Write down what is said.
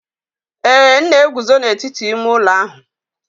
Ee, m na-eguzo n'etiti ime ụlọ ahụ.